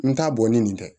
N t'a bɔ ni nin tɛ